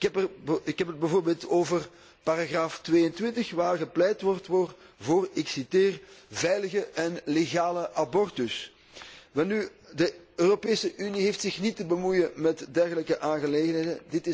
Ik heb het bijvoorbeeld over paragraaf 22, waar gepleit wordt voor ik citeer veilige en legale abortus. Welnu, de Europese Unie heeft zich niet te bemoeien met dergelijke aangelegenheden.